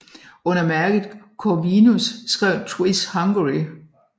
Under mærket Corvinus skrev Twiss Hungary